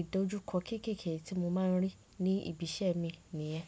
ìdojúkọ kéékèèké tí mo máa ń rí ní ibi iṣẹ́ mi nìyẹn.